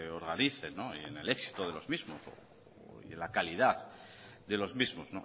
organicen y en el éxito de los mismos y en la calidad de los mismos